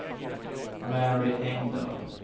Mary Engdahl